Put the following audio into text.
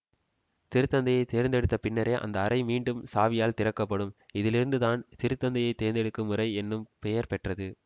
திரு தந்தையை தேர்ந்தெடுத்தபின்னரே அந்த அறை மீண்டும் சாவியால் திறக்க படும் இதிலிருந்துதான் திரு தந்தையை தேர்ந்தெடுக்கும் முறை என்னும் பெயர்பெற்றது